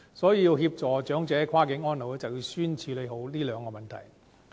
所以，要協助跨境安老，便要先處理這兩個問題。